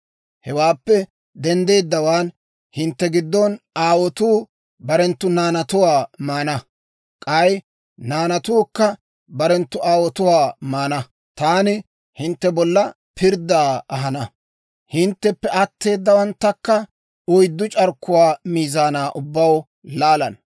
Hewaappe denddeeddawaan, hintte giddon aawotuu barenttu naanatuwaa maana; k'ay naanatuukka barenttu aawotuwaa maana. Taani hintte bolla pirddaa ahana; hintteppe atteedawanttakka oyddu c'arkkuwaa miizaanaa ubbaw laalana.